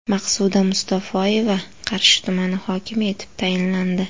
Maqsuda Mustafoyeva Qarshi tumani hokimi etib tayinlandi.